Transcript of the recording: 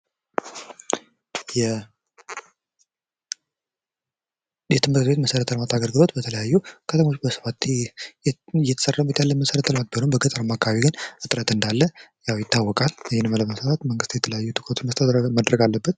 የመሰረተ ልማት አገልግሎት በተመለከተ እንዳለ ይታወቃል